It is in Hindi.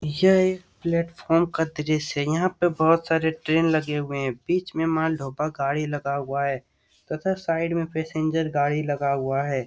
यह एक प्लेटफार्म का दृश्य है। यहाँ पे बहुत सारी ट्रेन लगे हुए हैं। बीच में माल ढोबा गाड़ी लगा हुआ है तथा साइड में पैसेंजर गाड़ी लगा हुआ है।